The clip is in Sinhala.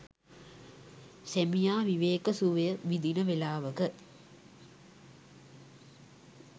සැමියා විවේක සුවය විදින වේලාවක